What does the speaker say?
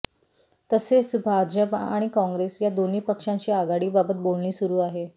तसेच भाजप अणि काँग्रेस या दाेन्ही पक्षांशी आघाडीबाबत बाेलणी सुरू आहे